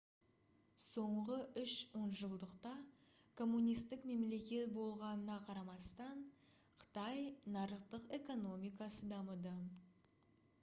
соңғы үш онжылдықта коммунистік мемлекет болғанына қарамастан қытай нарықтық экономикасы дамыды